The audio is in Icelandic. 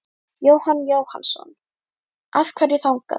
Jóhann Jóhannsson: Af hverju þangað?